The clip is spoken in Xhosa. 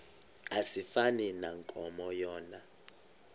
asifani nankomo yona